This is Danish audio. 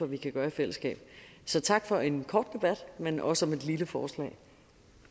vi kan gøre i fællesskab så tak for en kort debat men også om et lille forslag